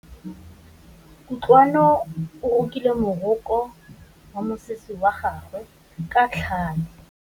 Kutlwanô o rokile morokô wa mosese wa gagwe ka tlhale.